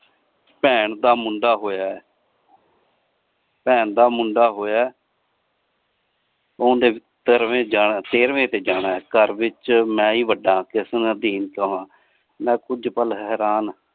ਭੈਣ ਦਾ ਮੁੰਡਾ ਹੋਇਆ ਭੈਣ ਦਾ ਮੁੰਡਾ ਹੋਇਆ ਓਂਦੇ ਸਰਵੇ ਜਾਣਾ ਸੇਰਵੇ ਤੇ ਜਾਣਾ ਘਰ ਵਿਚ ਮੈਂ ਹੀ ਵੱਡਾ ਆਂ ਮੈਂ ਕੁਜ ਪਲ ਹੈਰਾਣ